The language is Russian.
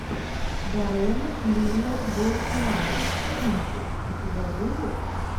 даррена линна боусмана кинчик у тебя будет